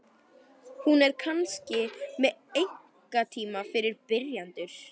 Hún er kannski með einkatíma fyrir byrjendur?